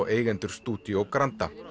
eigendur Studio Granda